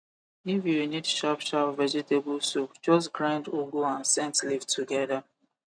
if you need sharp sharp vegetable soup just grind ugu and scent leave together